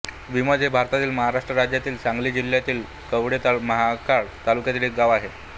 निमज हे भारतातील महाराष्ट्र राज्यातील सांगली जिल्ह्यातील कवठे महांकाळ तालुक्यातील एक गाव आहे